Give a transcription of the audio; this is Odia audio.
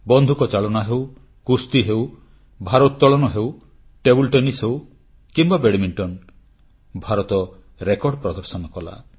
ବନ୍ଧୁକ ଚାଳନା ହେଉ କୁସ୍ତି ହେଉ ଭାରୋତ୍ତଳନ ହେଉ ଟେବୁଲ ଟେନିସ୍ ହେଉ କିମ୍ବା ବ୍ୟାଡମିଣ୍ଟନ ଭାରତ ରେକର୍ଡ ପ୍ରଦର୍ଶନ କଲା